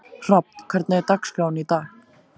Hrafn, hvernig er dagskráin í dag?